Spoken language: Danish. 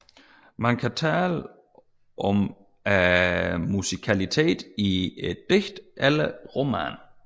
Man kan tale om musikalitet i et digt eller roman